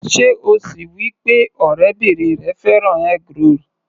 Sé o ṣọ wí pé ọ̀rẹ́bìrin rẹ fẹ́ràn eggroll?